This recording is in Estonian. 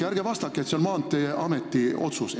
Ja ärge vastake, et see on Maanteeameti otsus.